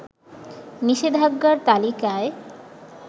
নিষেধাজ্ঞার তালিকায়